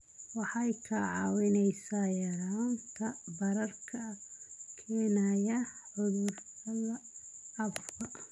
Waxay kaa caawinaysaa yaraynta bararka ay keenaan cudurrada caabuqa.